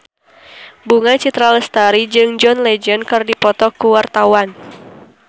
Bunga Citra Lestari jeung John Legend keur dipoto ku wartawan